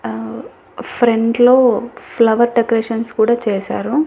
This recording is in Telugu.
అహ్ ఫ్రంట్ లో ఫ్లవర్ డెకరేషన్స్ కూడా చేశారు.